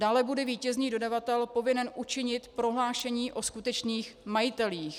Dále bude vítězný dodavatel povinen učinit prohlášení o skutečných majitelích.